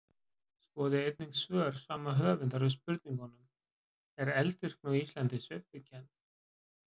Skoðið einnig svör sama höfundar við spurningunum: Er eldvirkni á Íslandi sveiflukennd?